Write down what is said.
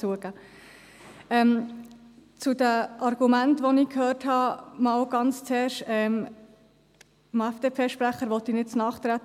Zu den Argumenten, die ich gehört habe, ganz zuerst: Ich möchte dem FDP-Sprecher nicht zu nahe treten.